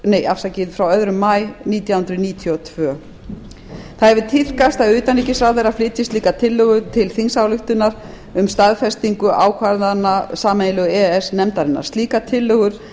e e s samninginn frá öðrum maí nítján hundruð níutíu og tvö það hefur tíðkast að utanríkisráðherra flytji slíka tillögu til þingsályktunar um staðfestingu ákvarðana sameiginlegu e e s nefndarinnar slíkar tillögur